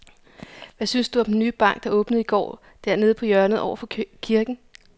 Hvad synes du om den nye bank, der åbnede i går dernede på hjørnet over for kirken?